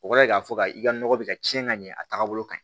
O kɔrɔ ye k'a fɔ ka i ka nɔgɔ bɛ ka ciɲɛ ka ɲɛ a tagabolo ka ɲi